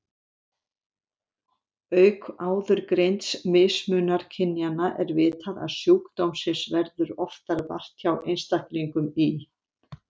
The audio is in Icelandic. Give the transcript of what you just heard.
Auk áðurgreinds mismunar kynjanna er vitað að sjúkdómsins verður oftar vart hjá einstaklingum í